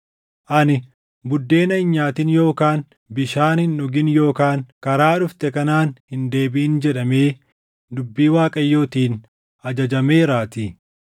Ani, ‘Buddeena hin nyaatin yookaan bishaan hin dhugin yookaan karaa dhufte kanaan hin deebiʼin’ jedhamee dubbii Waaqayyootiin ajajameeraatii.”